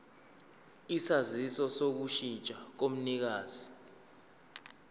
isaziso sokushintsha komnikazi